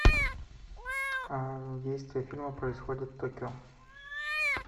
действие фильма происходит в токио